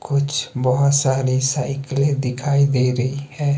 कुछ बहोत सारी साइकले दिखाई दे रही है।